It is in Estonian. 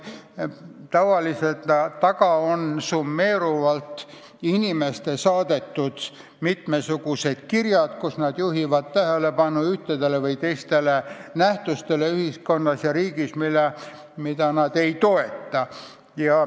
Tavaliselt on nende taga summeeruvalt inimeste saadetud kirjad, kus nad juhivad tähelepanu ühtedele või teistele nähtustele ühiskonnas ja riigis, mida nad ei toeta.